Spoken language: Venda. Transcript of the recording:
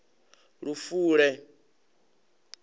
lufule